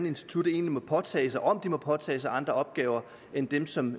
instituttet egentlig må påtage sig og om det må påtage sig andre opgaver end dem som